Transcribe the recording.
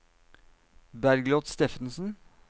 Bergliot Steffensen